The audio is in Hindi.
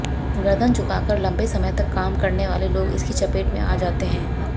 गर्दन झुकाकर लंबे समय तक काम करने वाले लोग इसकी चपेट में आ जाते हैं